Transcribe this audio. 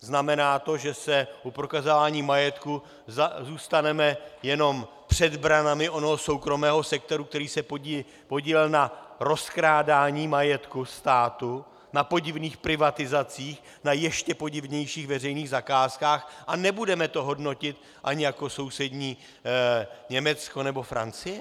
Znamená to, že se u prokazování majetku zůstaneme jenom před branami onoho soukromého sektoru, který se podílel na rozkrádání majetku státu, na podivných privatizacích, na ještě podivnějších veřejných zakázkách a nebudeme to hodnotit ani jako sousední Německo nebo Francie?